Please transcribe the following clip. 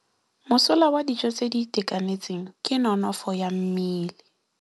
Mosola wa dijô tse di itekanetseng ke nonôfô ya mmele.